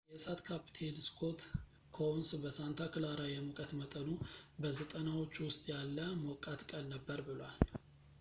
የእሳት ካፕቴን ስኮት ኮኡንስ በሳንታ ክላራ የሙቀት መጠኑ በ90ዎቹ ውስጥ ያለ ሞቃት ቀን ነበር ብሏል